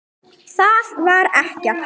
Það var ekkert.